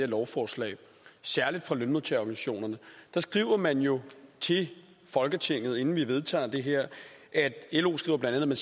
lovforslag særlig fra lønmodtagerorganisationerne skriver man jo til folketinget inden vi vedtager det her lo skriver bla at